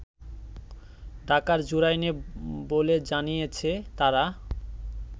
ঢাকার জুরাইনে বলে জানিয়েছে তারা